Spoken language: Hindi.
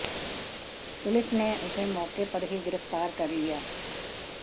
पुलिस ने उसे मौके पर ही गिरफ्तार कर लिया